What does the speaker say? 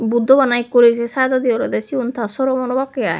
buddho bana ekku side ode ole sigun ta sromon obakke aai.